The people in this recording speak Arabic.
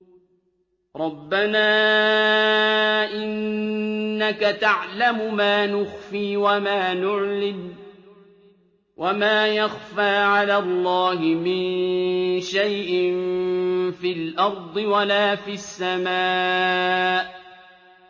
رَبَّنَا إِنَّكَ تَعْلَمُ مَا نُخْفِي وَمَا نُعْلِنُ ۗ وَمَا يَخْفَىٰ عَلَى اللَّهِ مِن شَيْءٍ فِي الْأَرْضِ وَلَا فِي السَّمَاءِ